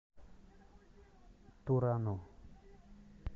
турану